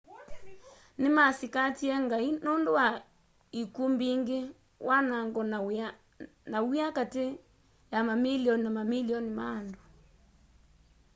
nimasikatie ngai nundũ wa ikw'ũ mbingi wanango na wia kati ya mamilioni na mamilioni ma andũ